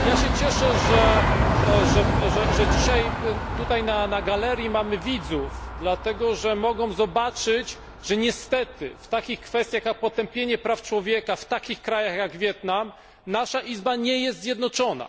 Cieszę się, że dzisiaj tutaj na galerii mamy widzów dlatego, że mogą zobaczyć, iż niestety w takich kwestiach jak potępienie łamania praw człowieka w takich krajach jak Wietnam nasza Izba nie jest zjednoczona.